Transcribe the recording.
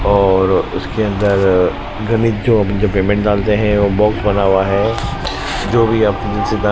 और उसके अंदर घनीज जो पेमेंट डालते हैं वो बॉक्स बना हुआ है जो भी ।